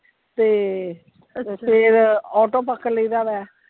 ਤੇ, ਫਿਰ auto ਪਕੜ ਲਾਇਦਾ ਵਾ।